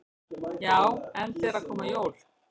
Já, enda eru að koma jól.